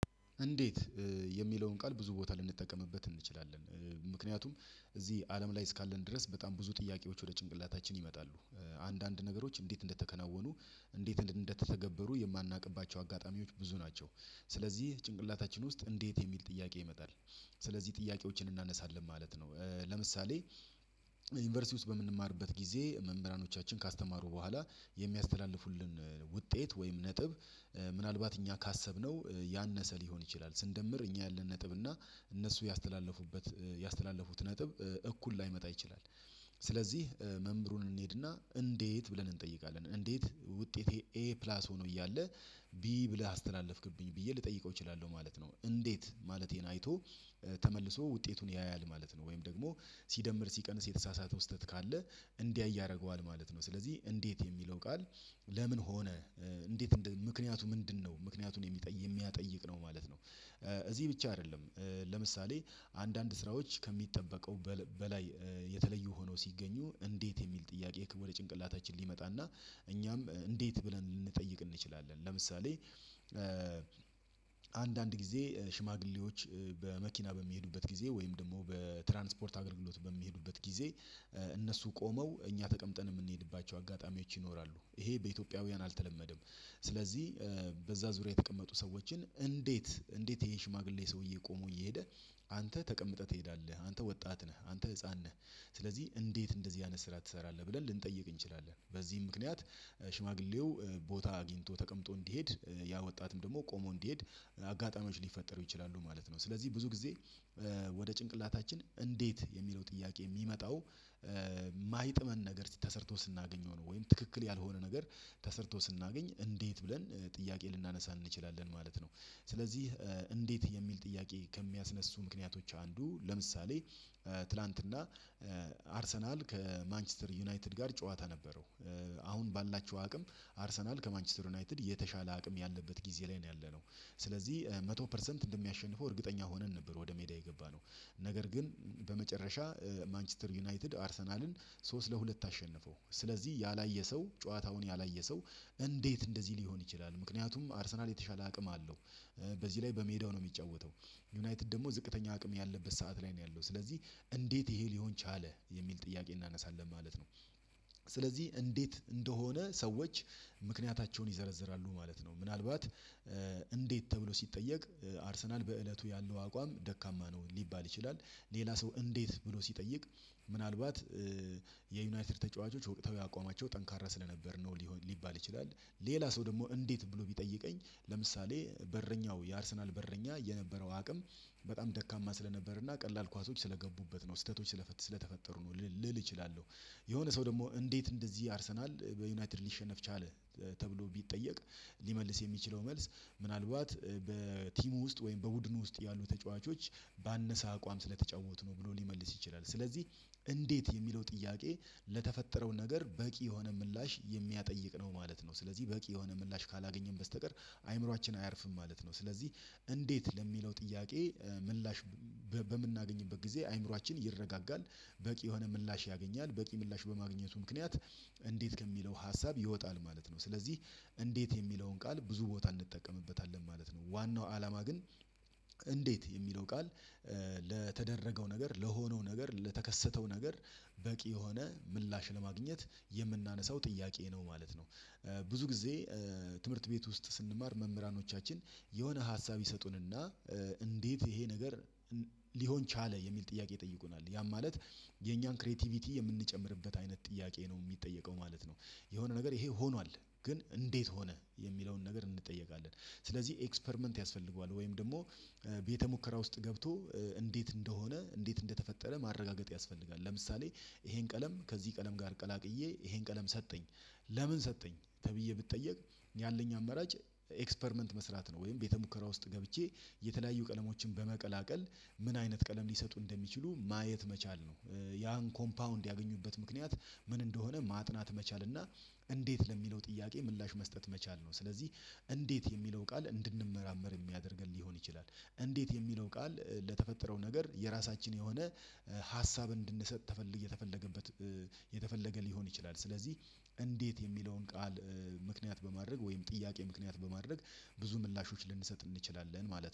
እንዴት የሚለውን ቃል ብዙ ቦታ ልንጠቀምበት እንችላለን? ምክንያቱም እዚህ አለም ላይ እስካለን ድረስ በጣም ብዙ ጥያቄዎች ወደ ጭንቅላታችን ይመጣሉ። አንዳንድ ነገሮች እንዴት እንደተከናወኑ እንዴት እንደተተገበሩ የማናውቅባቸው አጋጣሚዎች ብዙ ናቸው። ስለዚህ ጭንቅላታችን ውስጥ እንዴት የሚል ጥያቄ ይመጣል። ስለዚህ ጥያቄዎችን እናነሳለን ማለት ነው። ለምሳሌ ዩኒቨርሲቲ ውስጥ በምንማርበት ጊዜ መምህራኖቻችን ካስተማሩ በኋላ የሚያስተላልፉልን ውጤት ወይም ነጥብ ምናልባት እኛ ካሰብነው ያነሰ ሊሆን ይችላል ስንደምር እኛ ያለን ነጥብ እና እነሱ ያስተላለፉበት ያስተላለፉት ነጥብ እኩል ላይመጣ ይችላል። ስለዚህ መምህሩን እንሄድና እንዴት ብለን እንጠይቃለን እንዴት ውጤቴ ኤ ፕላስ ሆኖ እያለ ቢ ብለህ አስተላለፍክብኝ ብዬ ልጠይቀው እችላለሁ። ማለት ነው እንዴት ማለቴን አይቶ ተመልሶ ውጤቱን ያያል ማለት ነው። ወይም ደግሞ ሲደምር ሲቀንስ የተሳሳተ ስህተት ካለ እንዲያይ ማለት ነው። ስለዚህ እንዴት የሚለው ቃል ለምን ሆነ እንዴት ምክንያቱ ምንድነው ምክንያቱን የሚጠይቅ የሚያጠይቅ ነው ማለት ነው። እዚህ ብቻ አይደለም። ለምሳሌ አንዳንድ ስራዎች ከሚጠበቀው በላይ የተለዩ ሆኖ ሲገኙ እንዴት የሚል ጥያቄ ወደ ጭንቅላታችን ሊመጣና እኛም እንዴት ብለን ልንጠይቅ እንችላለን። ለምሳሌ አንዳንድ ጊዜ ሽማግሌዎች በመኪና በሚሄዱበት ጊዜ ወይም ደግሞ በትራንስፖርት አገልግሎት በሚሄዱበት ጊዜ እነሱ ቆመው እኛ ተቀምጠን የምንሄድባቸው አጋጣሚዎች ይኖራሉ ይሄ በኢትዮጵያውያን አልተለመደም። ስለዚህ በዛ ዙሪያ የተቀመጡ ሰዎችን እንዴት እንዴት ይሄ ሽማግሌ ሰውዬ ቆሞ እየሄደ አንተ ተቀምጠህ ትሄዳለህ አንተ ወጣት ነህ አንተ ህፃን ነህ። ስለዚህ እንዴት እንደዚህ አይነት ስራ ትሰራለህ ብለን ልንጠይቅ እንችላለን። በዚህ ምክንያት ሽማግሌው ቦታ አግኝቶ ተቀምጦ እንዲሄድ ያ ወጣትም ደግሞ ቆሞ እንዲሄድ አጋጣሚዎች ሊፈጠሩ ይችላሉ ማለት ነው። ስለዚህ ብዙ ጊዜ ወደ ጭንቅላታችን እንዴት የሚለው ጥያቄ የሚመጣው ማይጥመን ነገር ተሰርቶ ስናገኘው ነው። ወይም ትክክል ያልሆነ ነገር ተሰርቶ ስናገኝ እንዴት ብለን ጥያቄ ልናነሳን እንችላለን ማለት ነው። ስለዚህ እንዴት የሚል ጥያቄ ከሚያስነሱ ምክንያቶች አንዱ ለምሳሌ ትላንትና አርሰናል ከማንችስተር ዩናይትድ ጋር ጨዋታ ነበረው። አሁን ባላችሁ አቅም አርሰናል ከማንችስተር ዩናይትድ የተሻለ አቅም ያለበት ጊዜ ላይ ነው ያለነው ስለዚህ መቶ ፐርሰንት እንደሚያሸንፈው እርግጠኛ ሆነን ነበር ወደ ሜዳ የገባነው። ነገር ግን በመጨረሻ ማንችስተር ዩናይትድ አርሰናልን ሶስት ለሁለት አሸንፈው ስለዚህ ያላየ ሰው ጨዋታውን ያላየ ሰው እንዴት እንደዚህ ሊሆን ይችላል ምክንያቱም አርሰናል የተሻለ አቅም አለው። በዚህ ላይ በሜዳው ነው የሚጫወተው። ዩናይትድ ደግሞ ዝቅተኛ አቅም ያለበት ሰዓት ላይ ነው ያለው ስለዚህ እንዴት ይሄ ሊሆን ቻለ የሚል ጥያቄ እናነሳለን ማለት ነው። ስለዚህ እንዴት እንደሆነ ሰዎች ምክንያታቸውን ይዘረዝራሉ ማለት ነው። ምናልባት እንዴት ተብሎ ሲጠየቅ አርሰናል በእለቱ ያለው አቋም ደካማ ነው ሊባል ይችላል። ሌላ ሰው እንዴት ብሎ ሲጠይቅ ምናልባት የዩናይትድ ተጫዋቾች ወቅታው አቋማቸው ጠንካራ ስለነበር ነው ሊባል ይችላል። ሌላ ሰው ደግሞ እንዴት ብሎ ቢጠይቀኝ ለምሳሌ በረኛው የአርሰናል በረኛ የነበረው አቅም በጣም ደካማ ስለነበር እና ቀላል ኳሶች ስለገቡበት ነው ስህተቶች ስለተፈጠሩ ነው ልል እችላለሁ። የሆነ ሰው ደግሞ እንዴት እንደዚህ አርሰናል በዩናይትድ ሊሸነፍ ቻለ? ተብሎ ቢጠየቅ ሊመልስ የሚችለው መልስ ምናልባት በቲሙ ውስጥ ወይም በቡድኑ ውስጥ ያሉ ተጫዋቾች ባነሳ አቋም ስለተጫወቱ ነው ብሎ ሊመልስ ይችላል። ስለዚህ እንዴት የሚለው ጥያቄ ለተፈጠረው ነገር በቂ የሆነ ምላሽ የሚያጠይቅ ነው ማለት ነው። ስለዚህ በቂ የሆነ ምላሽ ካላገኘን በስተቀር አይምሮአችን አያርፍም ማለት ነው። ስለዚህ እንዴት ለሚለው ጥያቄ ምላሽ በምናገኝበት ጊዜ አእምሯችን ይረጋጋል። በቂ የሆነ ምላሽ ያገኛል በቂ ምላሽ በማግኘቱ ምክንያት እንዴት ከሚለው ሀሳብ ይወጣል ማለት ነው። ስለዚህ እንዴት የሚለውን ቃል ብዙ ቦታ እንጠቀምበታለን ማለት ነው። ዋናው አላማ ግን እንዴት የሚለው ቃል ለተደረገው ነገር ለሆነው ነገር ለተከሰተው ነገር በቂ የሆነ ምላሽ ለማግኘት የምናነሳው ጥያቄ ነው ማለት ነው። ብዙ ጊዜ ትምህርት ቤት ውስጥ ስንማር መምህራኖቻችን የሆነ ሀሳብ ይሰጡንና እንዴት ይሄ ነገር ሊሆን ቻለ የሚል ጥያቄ ይጠይቁናል ያም ማለት የኛን ክሬቲቪቲ የምንጨምርበት አይነት ጥያቄ ነው የሚጠየቀው ማለት ነው። የሆነ ነገር ይሄ ሆኗል ግን እንዴት ሆነ የሚለውን ነገር እንጠየቃለን። ስለዚህ ኤክስፐርመንት ያስፈልገዋል ወይም ደግሞ ቤተ ሙከራ ውስጥ ገብቶ እንዴት እንደሆነ እንዴት እንደተፈጠረ ማረጋገጥ ያስፈልጋል። ለምሳሌ ይሄን ቀለም ከዚህ ቀለም ጋር ቀላቅዬ ይሄን ቀለም ሰጠኝ። ለምን ሰጠኝ ተብዬ ብትጠየቅ? ያለኝ አመራጭ ኤክስፐርመንት መስራት ነው። ወይም ቤተ ሙከራ ውስጥ ገብቼ የተለያዩ ቀለሞችን በመቀላቀል ምን አይነት ቀለም ሊሰጡ እንደሚችሉ ማየት መቻል ነው። ያን ኮምፓውንድ ያገኙበት ምክንያት ምን እንደሆነ ማጥናት መቻል እና እንዴት ለሚለው ጥያቄ ምላሽ መስጠት መቻል ነው። ስለዚህ እንዴት የሚለው ቃል እንድንመራመር የሚያደርገን ሊሆን ይችላል። እንዴት የሚለው ቃል ለተፈጠረው ነገር የራሳችን የሆነ ሀሳብ እንድንሰጥ ተፈለገ የተፈለገበት የተፈለገ ሊሆን ይችላል። ስለዚህ እንዴት የሚለውን ቃል ምክንያት በማድረግ ወይም ጥያቄ ምክንያት በማድረግ ብዙ ምላሾች ልንሰጥ እንችላለን ማለት ነው